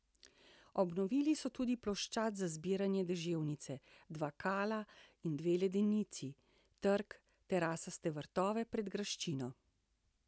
Obnovili so tudi ploščad za zbiranje deževnice, dva kala in dve ledenici, trg, terasaste vrtove pred graščino.